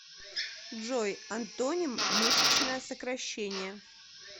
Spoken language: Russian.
джой антоним мышечное сокращение